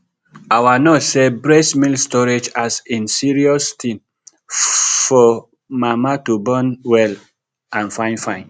our nurse say breast milk storage as in na serious thing for mama to born well and fine fine